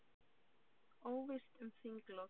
Óvíst um þinglok